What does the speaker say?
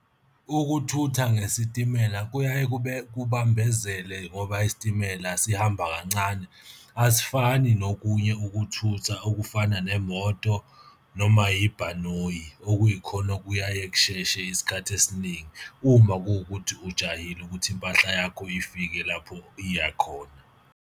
Ukuthutha ngesitimela kuyaye kubambezele ngoba isitimela sihamba kancane. Asifani nokunye ukuthutha okufana nemoto noma yibhanoyi, okuyikhona okuyaye kusheshe isikhathi esiningi uma kuwukuthi ujahile ukuthi impahla yakho ifike lapho iya khona.